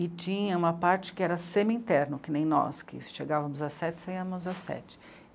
E tinha uma parte que era semi-interno, que nem nós, que chegávamos às sete, saíamos às sete.